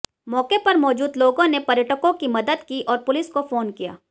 मौके पर मौजूद लोगों ने पर्यटकों की मदद की और पुलिस को फोन किया